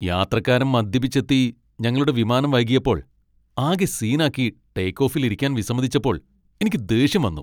യാത്രക്കാരൻ മദ്യപിച്ചെത്തി ഞങ്ങളുടെ വിമാനം വൈകിയപ്പോൾ ആകെ സീനാക്കി ടേക്ക് ഓഫിൽ ഇരിക്കാൻ വിസമ്മതിച്ചപ്പോൾ എനിക്ക് ദേഷ്യം വന്നു .